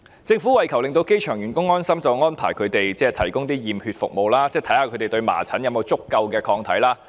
政府為求令機場員工安心便安排為他們提供驗血服務，檢驗他們是否對麻疹有足夠抗體。